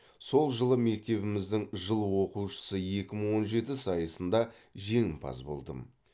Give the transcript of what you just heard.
сол жылы мектебіміздің жыл оқушысы екі мың он жеті сайысында жеңімпаз болдым